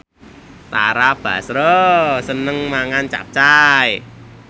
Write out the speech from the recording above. Tara Basro seneng mangan capcay